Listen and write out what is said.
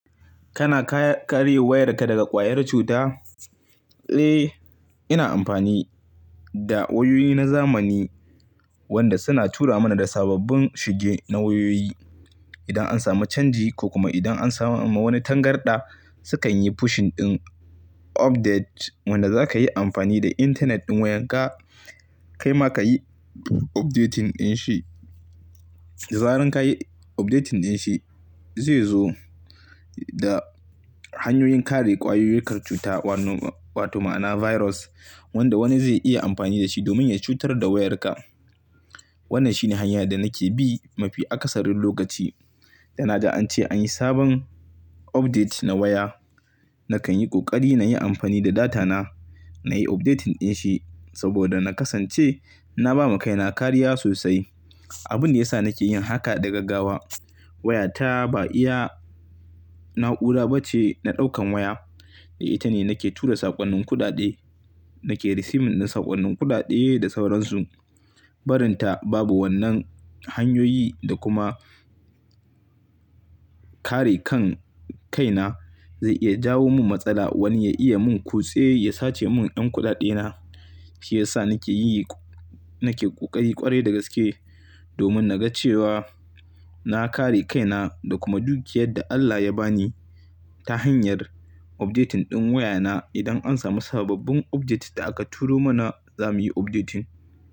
Kana kare wayarka daga ƙwayar cuta? Eh, ina amfani da wayoyi na zamani wanda suna tura mana da sababbin shige na wayoyi. Idan an samu canji ko kuma idan an samu wani tangarɗa, sukan yi pushing ɗin update wanda zaka yi amfani da intanet ɗin wayarka, kaima ka yi updating ɗin shi. Zaran ka yi updating ɗin shi zai zo da hanyoyin kare ƙwayayukar cuta wanno- wato ma'ana virus wanda wani zai iya amfani da shi domin ya cutar da wayarka. Wannan shine hanya da nake bi mafi akasarin lokaci da na ja an ce anyi sabon update na waya. Nakan yi ƙoƙari na yi amfani da data na, na yi updating ɗin shi saboda na kasance na ba ma kaina kariya sosai. Abin da ya sa nake yin haka da gaggawa, wayata ba iya na'ura ba ce na ɗaukan waya. Ita ne nake tura saƙonnin kuɗaɗe, nake receiving na saƙonnin kuɗaɗe da sauransu. Barinta babu wannan hanyoyi da kuma kare kan kaina, zai iya jawo min matsala wani ya iya mun kutse ya sace mun ƴan kuɗaɗe na. Shi ya sa nake yi, nake ƙoƙari ƙwarai da gaske domin na ga cewa na kare kaina da kuma dukiƴar da Allah ya ba ni ta hanyar updating ɗin wayana. Idan an samu sababbin update da aka turo mana, zamuyi updating.